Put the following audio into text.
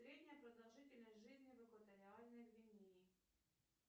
средняя продолжительность жизни в экваториальной гвинеи